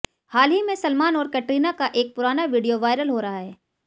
हाल ही में सलमान और कैटरीना का एक पुराना वीडियो वायरल हो रहा है